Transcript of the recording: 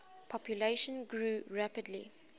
population grew rapidly